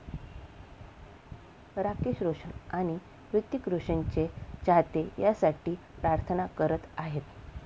राकेश रोशन आणि हृतिक रोशनचे चाहते यासाठी प्रार्थना करत आहेत.